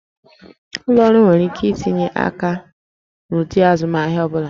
Ụlọ ọrụ nwere ike itinye aka n'ụdị azụmahịa ọ bụla